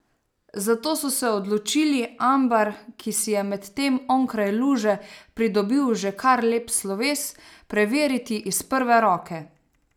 Zato so se odločili Ambar, ki si je medtem onkraj luže pridobil že kar lep sloves, preveriti iz prve roke.